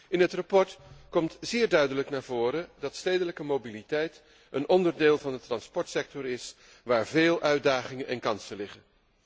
In het verslag komt zeer duidelijk naar voren dat stedelijke mobiliteit een onderdeel van de transportsector is waar veel uitdagingen en kansen liggen.